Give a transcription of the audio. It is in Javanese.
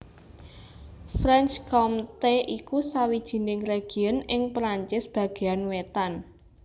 Franche Comté iku sawijining région ing Perancis bagéan wétan